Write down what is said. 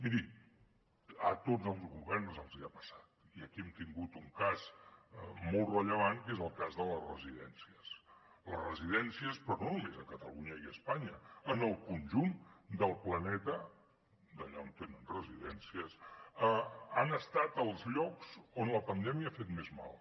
miri a tots els governs els ha passat i aquí hem tingut un cas molt rellevant que és el cas de les residències les residències però no només a catalunya i a espanya en el conjunt del planeta allà on tenen residències han estat els llocs on la pandèmia ha fet més mal